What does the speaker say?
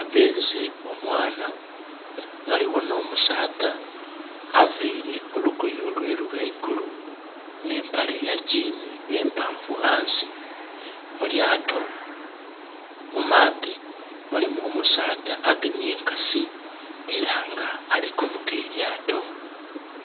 Abbeze omwana. Waliwo no musaadha avaire olugoye lweru waigulu ne mpale ya jean empanvu ghansi. Mulyaato ku maadhi mulimu omusaadha agemye enkasi era nga alikuvuga elyaato